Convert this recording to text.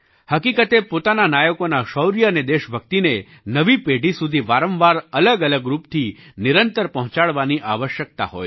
હકીકતે પોતાના નાયકોના શૌર્ય અને દેશભક્તિને નવી પેઢી સુધી વારંવાર અલગઅલગ રૂપથી નિરંતર પહોંચાડવાની આવશ્યકતા હોય છે